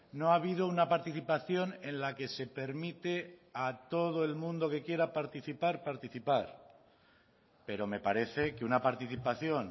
no ha habido una participación en la que se permite a todo el mundo que quiera participar participar pero me parece que una participación